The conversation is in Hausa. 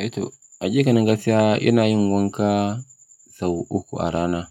Aito a ƙiƙanin gaskiya, ina yin wanka sau uku a rana.